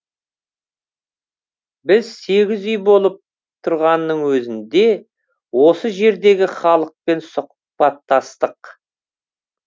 біз сегіз үй болып тұрғанның өзінде осы жердегі халықпен сұхбаттастық